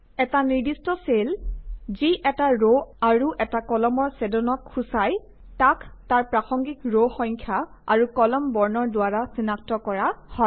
এটা নিৰ্দিষ্ট চেল যি এটা ৰ আৰু এটা কলামৰ ছেদনক সূচায় তাক তাৰ প্ৰাসঙ্গিক ৰ সংখ্যা আৰু কলাম বৰ্ণৰ দ্বাৰা চিনাক্ত কৰা হয়